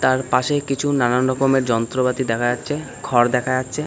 তার পাশেই কিছু নানান রকমের যন্ত্রপাতি দেখা যাচ্ছে খড় দেখা যাচ্ছে।